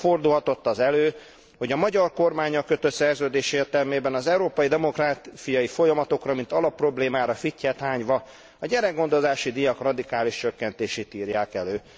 Hogyan fordulhatott az elő, hogy a magyar kormánnyal kötött szerződés értelmében az európai demográfiai folyamatokra, mint alapproblémára fittyet hányva a gyerekgondozási díjak radikális csökkentését írták elő?